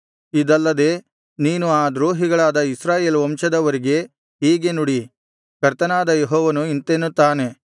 ಇದಲ್ಲದೆ ನೀನು ಆ ದ್ರೋಹಿಗಳಾದ ಇಸ್ರಾಯೇಲ್ ವಂಶದವರಿಗೆ ಹೀಗೆ ನುಡಿ ಕರ್ತನಾದ ಯೆಹೋವನು ಇಂತೆನ್ನುತ್ತಾನೆ